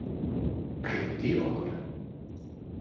Hringt í okkur?